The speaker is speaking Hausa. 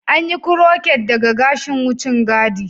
An yi krocet daga gashin wucin gadi.